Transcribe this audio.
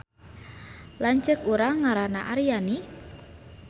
Lanceuk urang ngaranna Aryani